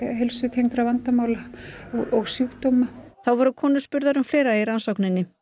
heilsutengdra vandamála og sjúkdóma þá voru konur spurðar um fleira í rannsókninni